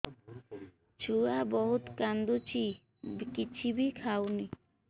ଛୁଆ ବହୁତ୍ କାନ୍ଦୁଚି କିଛିବି ଖାଉନି